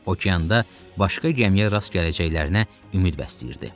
Okeanda başqa gəmiyə rast gələcəklərinə ümid bəsləyirdi.